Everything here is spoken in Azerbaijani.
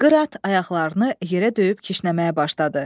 Qırat ayaqlarını yerə döyüb kişnəməyə başladı.